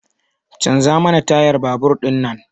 Canza mana tayar babur din nan!